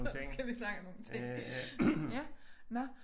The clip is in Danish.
Så skal vi snakke om nogle ting ja nåh